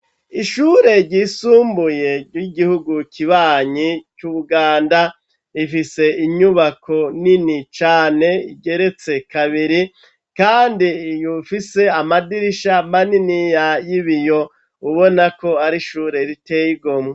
Ishure ryisumbuye ry'igihugu kibanyi c'Ubuganda, rifise inyubako nini cane igeretse kabiri kandi ifise amadirisha maniniya y'ibiyo, ubona ko ari ishure riteye igomwe.